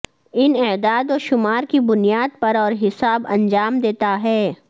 ان اعداد و شمار کی بنیاد پر اور حساب انجام دیتا ہے